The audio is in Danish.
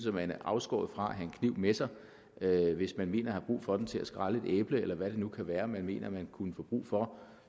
at man er afskåret fra at have en kniv med sig hvis man mener at have brug for den til at skrælle et æble eller hvad det nu kan være man mener at kunne få brug for